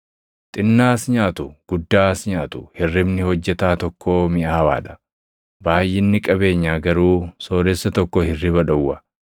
Xinnaas nyaatu, guddaas nyaatu, hirribni hojjetaa tokkoo miʼaawaa dha; baayʼinni qabeenyaa garuu sooressa tokko hirriba dhowwa.